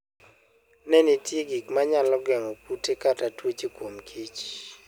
Ne ni nitie gik ma nyalo geng'o kute kata tuoche kuom kich.